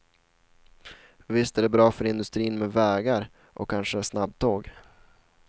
Visst är det bra för industrin med vägar och kanske snabbtåg.